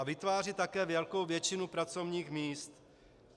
A vytvářejí také velkou většinu pracovních míst.